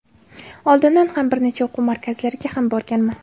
Oldin ham bir necha o‘quv markazlariga ham borganman.